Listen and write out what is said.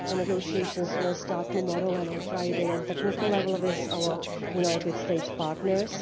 The negotiations will start tomorrow, and on Friday on a technical level with our United States partners.